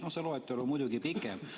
No see loetelu on muidugi pikem.